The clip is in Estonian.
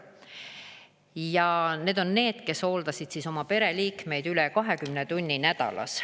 Ja need on need, kes hooldasid oma pereliikmeid üle 20 tunni nädalas.